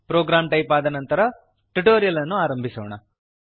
program type ಆದ ಮೇಲೆ tutorial ಅನ್ನು ಆರಂಭಿಸೋಣ